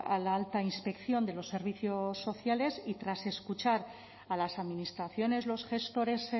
a la alta inspección de los servicios sociales y tras escuchar a las administraciones los gestores